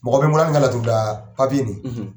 Mɔgɔ bɛ n bolo hali n ka laturuda papiye nin.